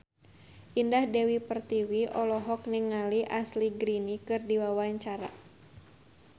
Indah Dewi Pertiwi olohok ningali Ashley Greene keur diwawancara